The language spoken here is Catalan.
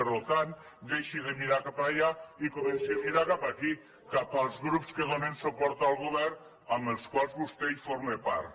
per tant deixi de mirar cap allà i comenci a mirar cap aquí cap als grups que donen suport al govern amb quals vostè en forma part